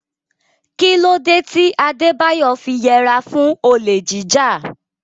Kí ló dé tí Adebayo fi yẹra fún olè jíjà?